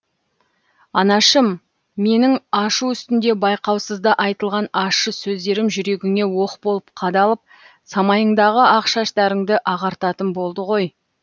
анашым менің ашу үстінде байқаусызда айтылған ашшы сөздерім жүрегіңе оқ болып қадалып самайыңдағы ақ шаштарыңды ағартатын болды ғой